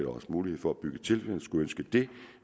også mulighed for at bygge til hvis man skulle ønske det